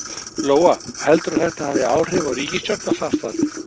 Lóa: Heldurðu að þetta hafi áhrif á ríkisstjórnarsamstarfið?